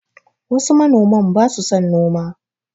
Wasu manoman ba su son noma